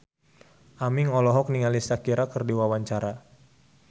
Aming olohok ningali Shakira keur diwawancara